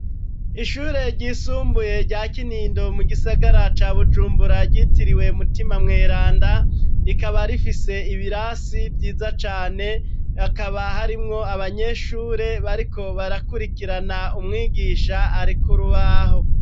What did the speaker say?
Ishure ryisumbuye rya Kinindo mu gisagara ca Bujumbura ryitiriwe Mutima Mweranda rikaba rifise ibirasi vyiza cane hakaba harimwo abanyeshure bariko barakurikirana umwigisha ari kurubaho.